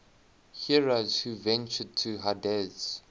heroes who ventured to hades